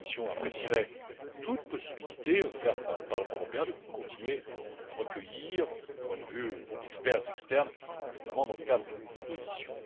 Cette dernière apprécierait toute possibilité offerte par le Parlement européen de continuer à recueillir les points de vue d'experts externes, notamment dans le cadre d'auditions.